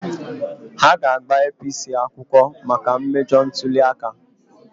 Ha ga-agba APC akwụkwọ maka mmejọ ntuli aka.